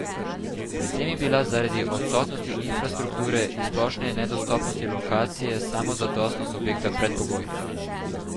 Pri tem je bila zaradi odsotnosti infrastrukture in splošne nedostopnosti lokacije samozadostnost objekta predpogoj.